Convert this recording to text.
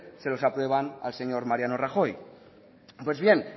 se los aprueban al señor mariano rajoy pues bien